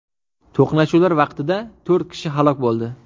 To‘qnashuvlar vaqtida to‘rt kishi halok bo‘ldi .